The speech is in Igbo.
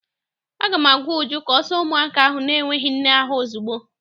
Aga m agwa Uju ka ọ saa ụmụaka ahụ n'enweghị nne ahụ ozugbo!